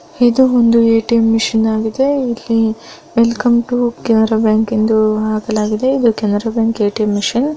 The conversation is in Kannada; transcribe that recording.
ಇದು ಒಂದು ಎ_ಟಿ_ಎಮ್ ಮಷಿನ್ ಆಗಿದೆ ಇಲ್ಲಿ ವೆಲ್ಕಮ್ ಟು ಕೆನರಾ ಬ್ಯಾಂಕ್ ಎಂದು ಹಾಕಲಾಗಿದೆ ಕೆನರಾ ಬ್ಯಾಂಕ್ ಎಟಿಎಂ ಮಷೀನ್ .